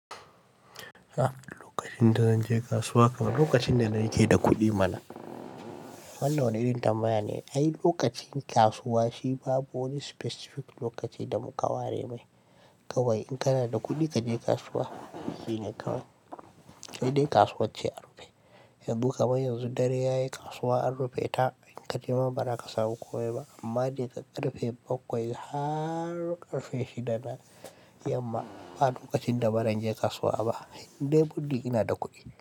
Lokacin da zan je kasuwa kamar lokacin da na yi kai da kuɗi mana. Wannan wani irin tambaya ne, ai lokacin kasuwa shi babu wani specific lokaci da mu ka ware mai. Kawai in kana da kuɗi kaje kasuwa shine kawai. Sai dai kasuwar ce harfe. Yanzu kam yanzu dare yayi kasuwa han rufe ta, in ka je ma ba za ka samu komai ba amma dai daga karfe bakwai har karfe shida na yamma ba lokacin da ba zan je kasuwa ba. In dai buɗdi ina da kuɗi.